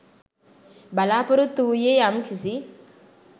බලාපොරොත්තු වූයේ යම් කිසි